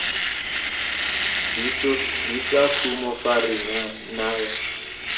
bitsa kumo fa re naya